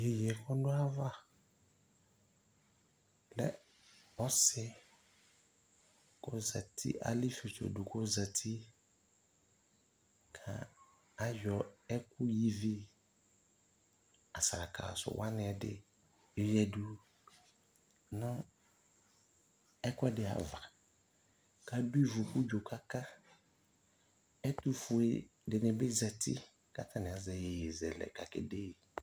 Iyeye kɔdʋ ayava lɛ ɔsi kɔzati, ala ifietso dʋ kʋ ɔzati kʋ ayɔ ɛkʋ ya ivi, asalaka sʋ wani ɛdi yɔya du nʋ ɛkʋɛdi ava kʋ adʋ ivu kʋ udzo kaka Ɛtʋfue di ni bi zati kʋ atani azɛ iyeyezɛlɛ kakede yi